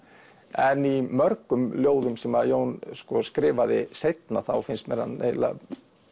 en í mörgum ljóðum sem Jón skrifaði seinna þá finnst mér hann eiginlega